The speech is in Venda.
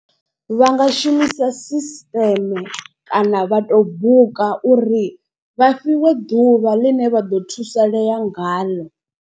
Vha nga shumisa system kana vha to buka uri vha fhiwe ḓuvha ḽine vha ḓo thusalea ngaḽo.